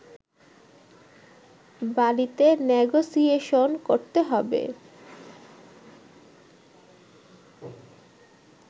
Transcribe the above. বালিতে নেগোসিয়েশন করতে হবে